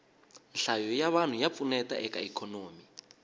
nhlayo ya vanhu ya pfuneta eka ikhonomi